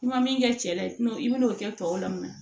I ma min kɛ cɛ ye nɔn i bɛn'o kɛ tɔw la mun na